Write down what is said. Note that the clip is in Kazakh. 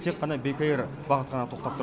тек қана бек эйр бағыты ғана тоқтап тұр